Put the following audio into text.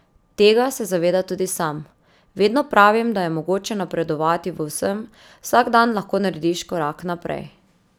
Tega se zaveda tudi sam: "Vedno pravim, da je mogoče napredovati v vsem, vsak dan lahko narediš korak naprej.